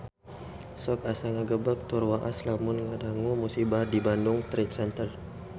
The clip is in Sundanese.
Sok asa ngagebeg tur waas lamun ngadangu musibah di Bandung Trade Center